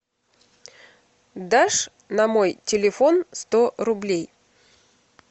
дашь на мой телефон сто рублей